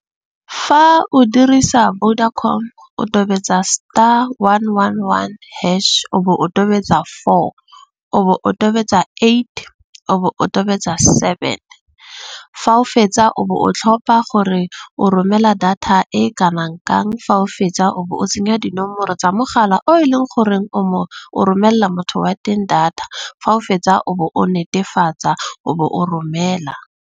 Fa o dirisa Vodacom, o tobetsa star, one, one, one, hash o bo o tobetsa four. O bo o tobetsa eight. O bo o tobetsa seven. Fa o fetsa o bo o tlhopha gore o romela data e kanang kang. Fa o fetsa o bo o tsenya dinomoro tsa mogala o e leng goreng o o romella motho wa teng data. Fa o fetsa o bo o netefatsa o bo o romela.